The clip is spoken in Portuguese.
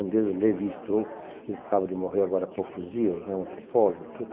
Um deles, o Levi Stroh, que acaba de morrer agora há poucos dias, um antropólogo e tudo.